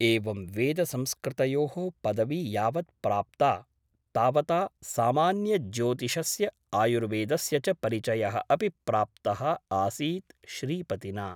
एवं वेदसंस्कृतयोः पदवी यावत् प्राप्ता तावता सामान्यज्योतिषस्य आयुर्वेदस्य च परिचयः अपि प्राप्तः आसीत् श्रीपतिना ।